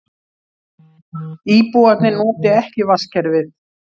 Íbúarnir noti ekki vatnskerfið